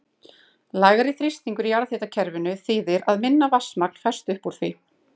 Lægri þrýstingur í jarðhitakerfinu þýðir að minna vatnsmagn fæst upp úr því.